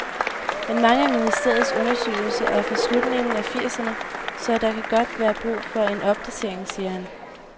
Men mange af ministeriets undersøgelser er fra slutningen af firserne, så der kan godt være brug for en opdatering, siger han.